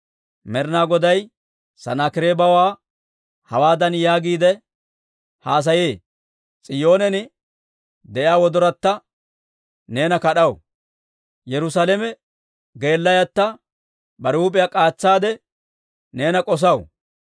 Med'ina Goday Sanaakireebawaa hawaadan yaagiide haasayee; « ‹S'iyoonen de'iyaa wodoratta neena kad'aw; Yerusaalame wodoratta bare huup'iyaa k'aatsaadde, neena k'osaw.